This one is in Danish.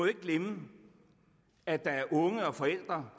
ikke glemme at der er unge og forældre